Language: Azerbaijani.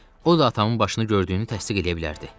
O da atamın başını gördüyünü təsdiq eləyə bilərdi.